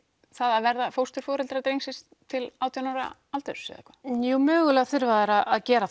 það að vera fósturforeldrar drengsins til átján ára aldurs jú mögulega þurfa þær að gera